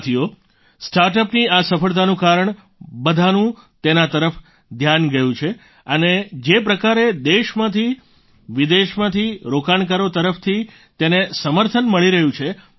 સાથીઓ સ્ટાર્ટઅપની આ સફળતાનું કારણે બધાનું તેના તરફ ધ્યાન ગયું છે અને જે પ્રકારે દેશમાંથી વિદેશમાંથી રોકાણકારો તરફથી તેને સમર્થન મળી રહ્યું છે